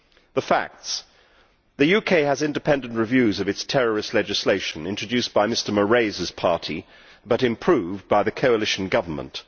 The facts the UK has independent reviews of its terrorist legislation, introduced by Mr Moraes' party but improved by the coalition government.